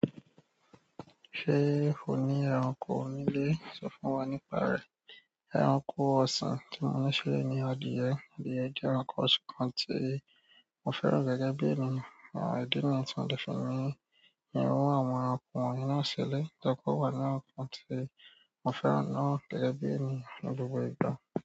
Ṣe o ni ẹranko nile? Sọ fún wa nípa rẹ. Ẹranko ọsan ti mo ṣe ni adìẹ. Adìẹ jẹ ẹranko ọ̀sìn kan tí mo fẹ́ràn gẹ́gẹ́ bí ènìyàn. Idi niyii tí mo de fi ní irun àwọn ẹranko wọnyii náà sílè. To jẹ pe o wa inú nǹkan tí mo fẹ́ràn náà gẹ́gẹ́ bí ènìyàn ní gbogbo ìgbà.